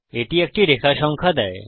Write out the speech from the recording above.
এটি একটি রেখা সংখ্যা দেয়